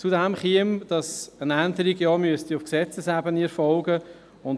Hinzu käme, dass eine Änderung auf Gesetzesebene erfolgen müsste.